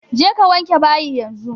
Je ka wanke bayi yanzu!